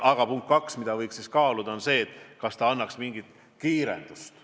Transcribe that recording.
Aga punkt 2: kaaluda võiks seda, kas see annaks tööle mingi kiirenduse.